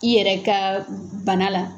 I yɛrɛ ka bana la